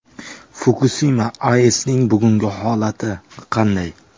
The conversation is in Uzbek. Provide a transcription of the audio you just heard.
Fukusima AESning bugungi holati qanday?